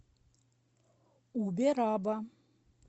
убераба